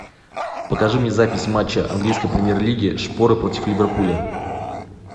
покажи мне запись матча английской премьер лиги шпоры против ливерпуля